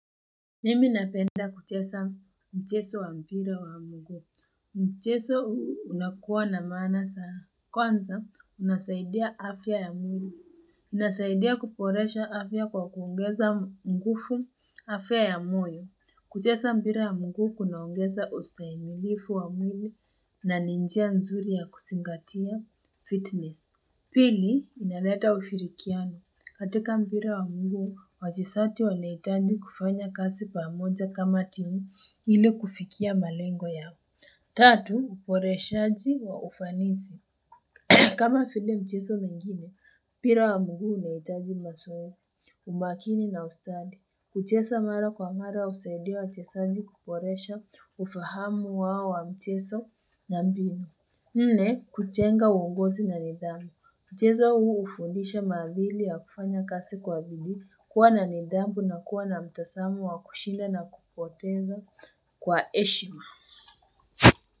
Mimi napenda kucheza mchezo wa mpira wa mguu. Mchezo unakuwa na maana sana. Kwanza unasaidia afya ya mwili. Inasaidia kuboresha afya kwa kuongeza nguvu afya ya moyo. Kucheza mpira ya mguu kunaongeza ustahimilifu wa mwili na ni njia nzuri ya kuzingatia fitness. Pili, inaleta ushirikiano. Katika mpira wa mguu, wachezaji wanahitaji kufanya kazi pamoja kama timu ili kufikia malengo yao. Tatu, uboreshaji wa ufanisi. Kama vile mchezo mengine, mpira wa mguu unahitaji mazoezi, umakini na ustadi. Kuchexa mara kwa mara husaidia wachezaji kuboresha ufahamu wao wa mchezo na mbinu. Nne, kujenga uongozi na nidhamu. Mchezo huu ufundisha madhili ya kufanya kazi kwa bidii kuwa na nidhamu na kuwa na mtazamo wa kushinda na kupoteza kwa heshima.